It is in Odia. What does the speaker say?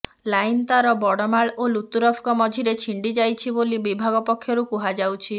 ଲାଇନ ତାର ବଡ଼ମାଳ ଓ ଲୁତୁରପଙ୍କ ମଝିରେ ଛିଣ୍ଡି ଯାଇଛି ବୋଲି ବିଭାଗ ପକ୍ଷରୁ କୁହାଯାଉଛି